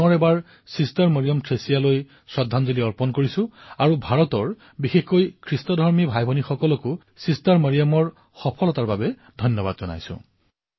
মই পুনৰবাৰ ছিষ্টাৰ মৰিয়ম থ্ৰেছিয়াক শ্ৰদ্ধাঞ্জলি জ্ঞাপন কৰিছো আৰু ভাৰতৰ জনতাক বিশেষকৈ ইছাই ভাতৃভগ্নীসকলক এই উপলব্ধিৰ বাবে অশেষ অভিনন্দন জনাইছো